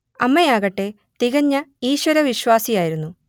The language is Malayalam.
അമ്മയാകട്ടെ തികഞ്ഞ ഈശ്വരവിശ്വാസിയായിരുന്നു